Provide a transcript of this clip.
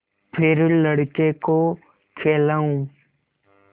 फिर लड़के को खेलाऊँ